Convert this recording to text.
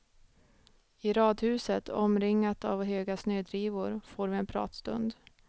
I radhuset, omringat av höga snödrivor, får vi en pratstund.